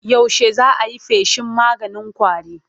Yaushe za a yi feshin maganin ƙwarin?